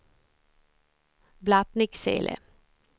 Blattnicksele